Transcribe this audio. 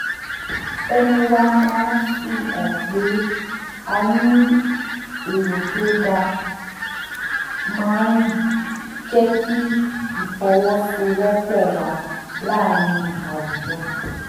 ẹnu wa máa fi hàn pé a ní èrò tó dáa máa ń jẹ́ kí ìfọwọ́sowọ́pọ̀ wà láàárín àwùjọ